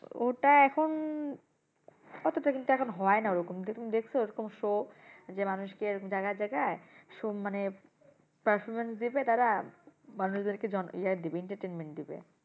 ওটা এখন অতটা কিন্তু এখন হয়না ওরকম তুমি দেখসো ওরকম show যে মানুষকে এরকম জায়গায় জায়গায় show মানে performance দিবে তারা মানুষদেরকে ইয়ে দিবে entertainment দিবে।